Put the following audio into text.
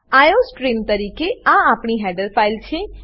iostream તરીકે આ આપણી હેડર ફાઈલ છે